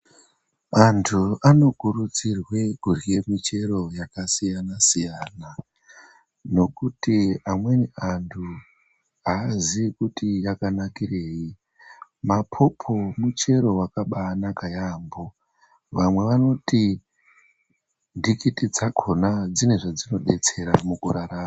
Antu anokurudzirwe kurya michero yakasiyana siyana, nokuti amweni antu havazive kuti yakanakirei. Mapopo muchero wakaabanaka yaambo. Vamwe vanoti ntikiti dzakona dzine zvadzinobetsera mukurarama.